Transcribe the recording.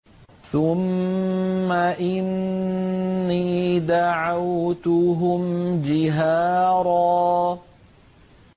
ثُمَّ إِنِّي دَعَوْتُهُمْ جِهَارًا